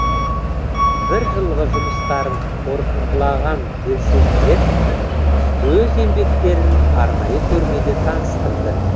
бір жылғы жұмыстарын қорытындылаған белсенділер өз еңбектерін арнайы көрмеде таныстырды